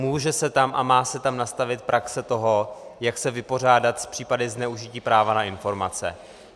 Může se tam a má se tam nastavit praxe toho, jak se vypořádat s případy zneužití práva na informace.